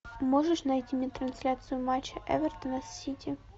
можешь найти мне трансляцию матча эвертона с сити